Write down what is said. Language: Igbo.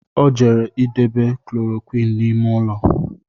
Ọ jere idebe Koloroqini n’ime ụlọ